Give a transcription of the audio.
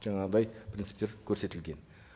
жаңағындай принциптер көрсетілген